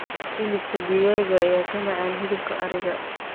hilibka digaaga ayaa ka macaan hilibka ariga